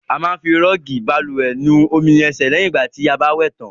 A máa ń fi rọọgi bálùwẹ̀ nu omi ẹ̀sẹ̀ lẹ̀hìn ti a bá wẹ̀ tàn.